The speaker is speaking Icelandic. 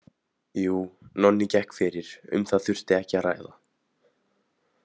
Jú, Nonni gekk fyrir, um það þurfti ekki að ræða.